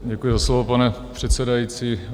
Děkuji za slovo, pane předsedající.